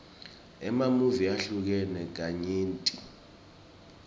emamuvi ahlukene kanyenti